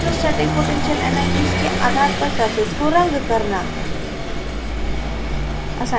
electrostatic potential energies के आधार पर surface को रंग करना